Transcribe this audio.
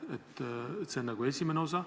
See on mu küsimuse esimene osa.